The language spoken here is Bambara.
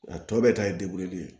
A tɔ bɛɛ ta ye ye